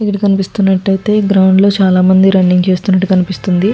ఇక్కడ కనిపిస్తున్నట్టయితే గ్రౌండ్ లో చాలా మంది రన్నింగ్ చేస్తున్నట్టు కనిపిస్తుంది.